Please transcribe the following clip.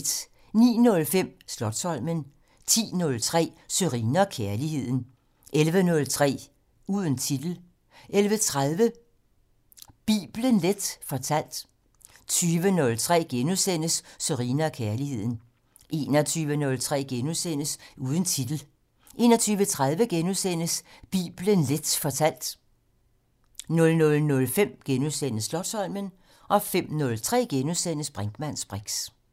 09:05: Slotsholmen 10:03: Sørine & Kærligheden 11:03: Uden titel 11:30: Bibelen Leth fortalt 20:03: Sørine & Kærligheden * 21:03: Uden titel * 21:30: Bibelen Leth fortalt * 00:05: Slotsholmen * 05:03: Brinkmanns briks *